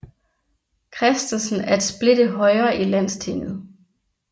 Christensen at splitte Højre i Landstinget